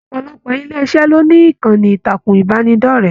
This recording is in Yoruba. Ọpọlọpọ ilé iṣẹ lo ní ìkànnì ìtàkùn ìbánidọ̀rẹ̀.